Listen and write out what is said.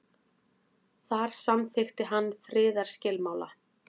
þar samþykkti hann friðarskilmála